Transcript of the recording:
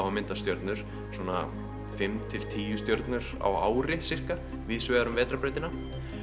að mynda stjörnur svona fimm til tíu stjörnur á ári víðsvegar um vetrarbrautina